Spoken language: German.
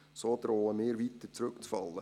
So drohen wir weiter zurückzufallen.